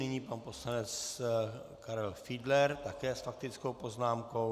Nyní pan poslanec Karel Fiedler také s faktickou poznámkou.